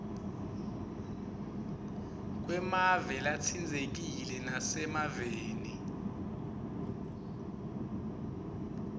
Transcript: kwemave latsintsekile nasemaveni